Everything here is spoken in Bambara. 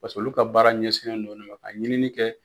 Paseke olu ka baara ɲɛsinnen no o le ma ka ɲinini kɛ.